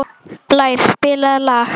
Blær, spilaðu lag.